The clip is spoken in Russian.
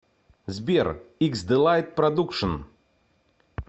сбер иксдэлайт продукшн